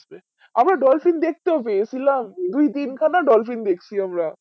আমরা ডলফিন দেকতে পেয়েছিলাম দুই তিন খানা ডলফিন দেকসি আমরা